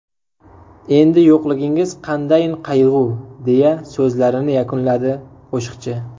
Endi yo‘qligingiz qandayin qayg‘u…” deya so‘zlarini yakunladi qo‘shiqchi.